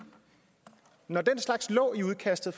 når den slags lå i udkastet